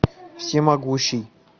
всемогущий